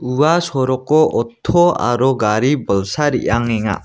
ua soroko otto aro gari bolsa re·angenga.